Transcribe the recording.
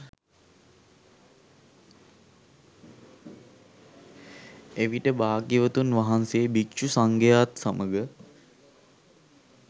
එවිට භාග්‍යවතුන් වහන්සේ භික්ෂු සංඝයා ත් සමඟ